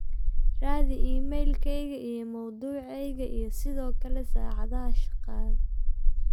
raadi iimaylkayga iyo mawduucayga iyo sidoo kale saacadaha shaqada